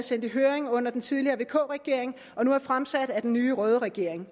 sendt i høring under den tidligere vk regering og nu er fremsat af den nye røde regering